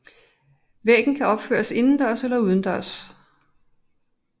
Væggen kan opføres indendørs eller udendørs